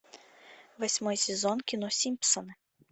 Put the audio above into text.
восьмой сезон кино симпсоны